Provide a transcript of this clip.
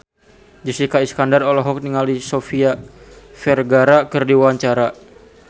Jessica Iskandar olohok ningali Sofia Vergara keur diwawancara